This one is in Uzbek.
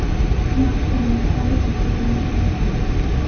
Smartfonda kamera tugmasi ham mavjud.